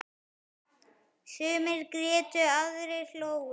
Sumir grétu, aðrir hlógu.